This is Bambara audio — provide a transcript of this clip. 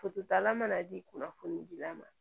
Fototala mana di kunnafoni dila ma